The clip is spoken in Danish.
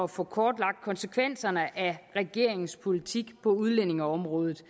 få kortlagt konsekvenserne af regeringens politik på udlændingeområdet